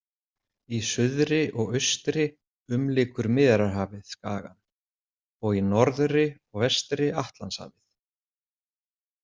Í suðri og austri umlykur Miðjarðarhafið skagann og í norðri og vestri Atlantshafið.